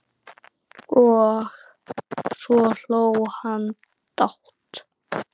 Og svo hló hann dátt!